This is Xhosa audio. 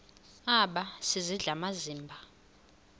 aba sisidl amazimba